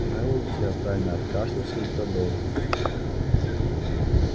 мэллоу театрально откашлялся и продолжил